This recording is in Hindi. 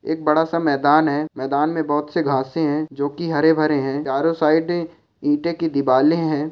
एक बड़ा सा मैदान है मैदान में बहुत सी घासे है जो की हरे भरे है चारो साइड इटे की दिवाले है।